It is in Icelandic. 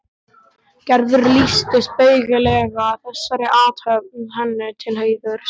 Gerður lýsti spaugilega þessari athöfn henni til heiðurs.